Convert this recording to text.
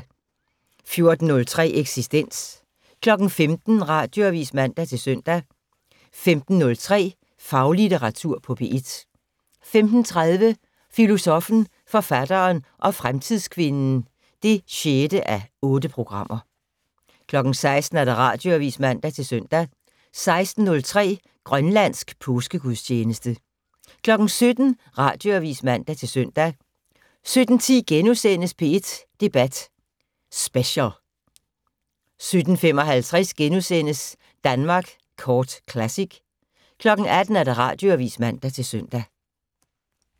14:03: Eksistens 15:00: Radioavis (man-søn) 15:03: Faglitteratur på P1 15:30: Filosoffen, forfatteren og fremtidskvinden (6:8) 16:00: Radioavis (man-søn) 16:03: Grønlandsk påskegudstjeneste 17:00: Radioavis (man-søn) 17:10: P1 Debat Special * 17:55: Danmark Kort Classic * 18:00: Radioavis (man-søn)